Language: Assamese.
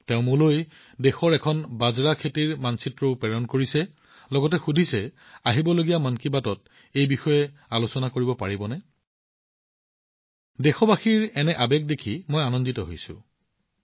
তেওঁ মোলৈ দেশৰ এখন বাজৰাৰ মানচিত্ৰও প্ৰেৰণ কৰিছিল আৰু সুধিছিল আপুনি আগন্তুক খণ্ডবোৰত মন কী বাতত আলোচনা কৰিব পাৰিবনে দেশবাসীৰ এনে আৱেগ দেখি মই বৰ সুখী অনুভৱ কৰোঁ